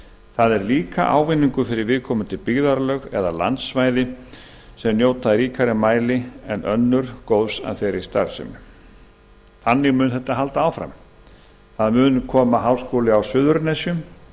það er líka ávinningur fyrir viðkomandi byggðarlög eða landsvæði sem njóta í ríkara mæli en önnur góðs af starfseminni þannig mun þetta halda áfram það mun koma háskóli á suðurnesjum